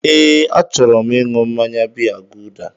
Ee, achọrọ m ịṅụ mmaya biya guuda